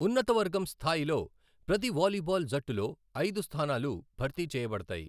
ఉన్నత వర్గం స్థాయిలో ప్రతి వాలీబాల్ జట్టులో ఐదు స్థానాలు భర్తీ చేయబడతాయి.